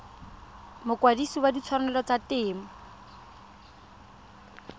mokwadise wa ditshwanelo tsa temo